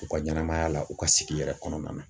U ka ɲɛnɛmaya la u ka sigi yɛrɛ kɔnɔna na.